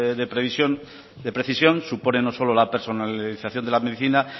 de precisión supone no solo la personalización de la medicina